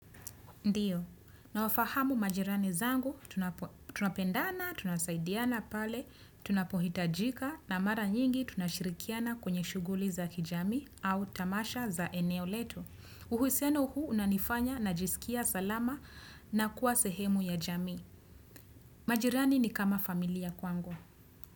Ndiyo, nawafahamu majirani zangu, tunapendana, tunasaidiana pale, tunapohitajika na mara nyingi tunashirikiana kwenye shuguli za kijamii au tamasha za eneo letu. Uhusiano huu unanifanya na jisikia salama na kuwa sehemu ya jamii. Majirani ni kama familia kwangu.